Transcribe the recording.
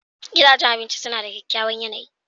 Gidajen abinci suna da kyakkyawan yanayi.